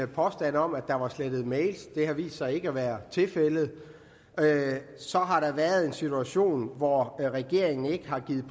påstand om at der var slettet mails det har vist sig ikke at være tilfældet så har der været en situation hvor regeringen ikke har givet